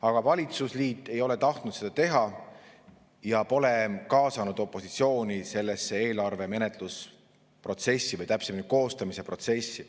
Aga valitsusliit ei ole tahtnud seda teha ja pole kaasanud opositsiooni eelarve menetluse protsessi, täpsemini, koostamise protsessi.